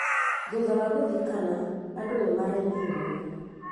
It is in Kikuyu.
Thutha wa gũthikana, andũ nĩ marĩnire mũno